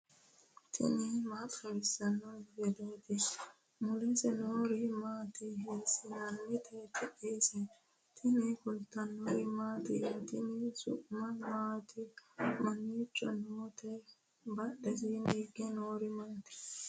tini maa xawissanno misileeti ? mulese noori maati ? hiissinannite ise ? tini kultannori mattiya? tenne su'mi maatti? mamicho nootte? badhesenni hige noori maatti?